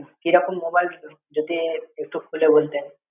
কি রকম mobile যদি একটু খুলে বলতেন?